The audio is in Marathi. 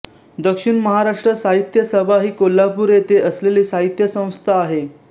दक्षिण महाराष्ट्र साहित्य सभा ही कोल्हापूर येथे असलेली साहित्य संस्था आहे